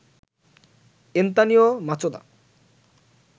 Antonio Machado